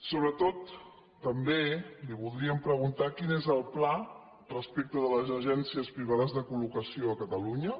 sobretot també li voldríem preguntar quin és el pla respecte de les agències privades de col·locació a catalunya